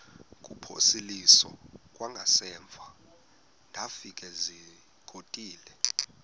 kuphosiliso kwangaemva ndafikezizikotile